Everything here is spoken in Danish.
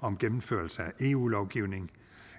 om gennemførelse af eu lovgivning